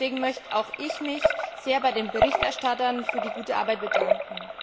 Deswegen möchte auch ich mich sehr bei den Berichterstattern für die gute Arbeit bedanken.